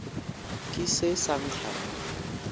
ke se sa nkga mo